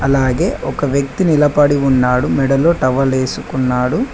అలాగే ఒక వ్యక్తి నిలబడి ఉన్నాడు మెడలో టవలేసుకున్నాడు.